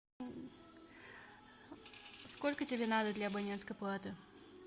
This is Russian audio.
сколько тебе надо для абонентской платы